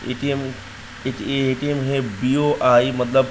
ATM AT ये ATM है BOI. मतलब --